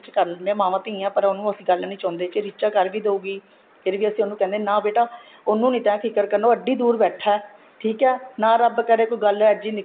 ਕਰ ਲੈਂਦੇ ਹਾਂ ਮਾਵਾਂ ਧੀਆਂ ਪਰ ਉਹਨੂੰ ਅਸੀਂ ਗੱਲ ਨਹੀਂ ਚਾਉਂਦੇ ਕੀ ਰੀਚਾ ਕਰ ਵੀ ਦਉਗੀ ਫ਼ਿਰ ਉਹਨੂੰ ਕਹਿੰਦੇ ਹਾਂ ਨਾ ਬੇਟਾ ਉਹਨੂੰ ਨੂੰ ਤੈ ਫ਼ਿਕਰ ਕਰਨਾ ਉਹ ਐਡੀ ਦੂਰ ਬੈਠਾ ਠੀਕ ਏ ਨਾ ਰੱਬ ਕਰੇ ਕੋਈ ਗੱਲ ਅਹਿਜੀ